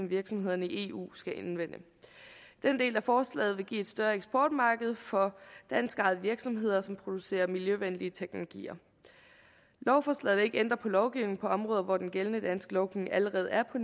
virksomhederne i eu skal anvende den del af forslaget vil give et større eksportmarked for danskejede virksomheder som producerer miljøvenlig teknologi lovforslaget vil ikke ændre på lovgivningen på områder hvor den gældende danske lovgivning allerede er på